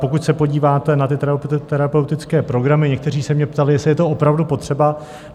Pokud se podíváte na ty terapeutické programy, někteří se mě ptali, jestli je to opravdu potřeba.